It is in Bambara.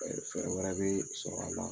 fɛɛrɛ wɛrɛ bɛ sɔrɔ a la.